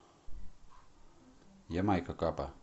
ямайка капа